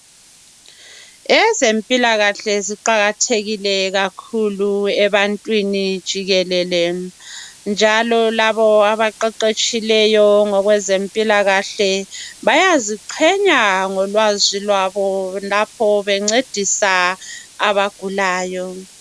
Ezempilakahle ziqakathekile kakhulu ebantwini jikelele njalo labo abaqeqetshileyo ngokwezempilakahle bayaziqhenya ngolwazi lwabo lapho bencedisa abagulayo.